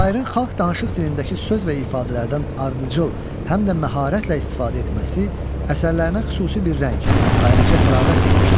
Şairin xalq danışıq dilindəki söz və ifadələrdən ardıcıl, həm də məharətlə istifadə etməsi əsərlərinə xüsusi bir rəng, ayrıca təravət vermişdir.